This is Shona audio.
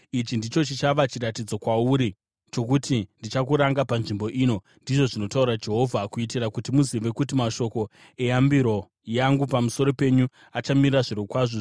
“ ‘Ichi ndicho chichava chiratidzo kwauri chokuti ndichakuranga panzvimbo ino,’ ndizvo zvinotaura Jehovha, ‘kuitira kuti muzive kuti mashoko eyambiro yangu pamusoro penyu achamira zvirokwazvo.’